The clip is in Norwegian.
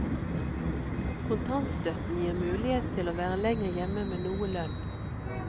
Kontantstøtten gir mulighet til å være lenger hjemme med noe lønn.